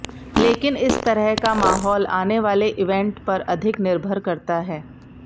लेकिन इस तरह का माहौल आनेवाले इवेंट पर अधिक निर्भर करता है